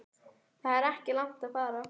Það er ekki langt að fara.